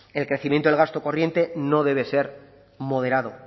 el crecimiento del gasto corriente no debe ser moderado